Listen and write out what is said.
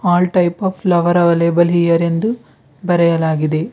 All type of flower available here ಎಂದು ಬರೆಯಲಾಗಿದೆ.